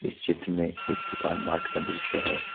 चित्र में एक दुकान मार्ट का दृश्य है।